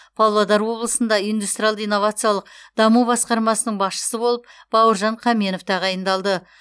павлодар облысында индустриалды инновациялық даму басқармасының басшысы болып бауыржан қаменов тағайындалды